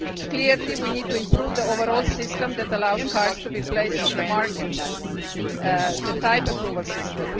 Clearly we need to improve the overall system that allows cars to be placed on the market the type approval system.